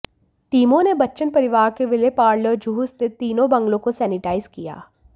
टीमों ने बच्चन परिवार के विले पार्ले और जुहू स्थित तीनों बंगलों को सैनिटाइज किया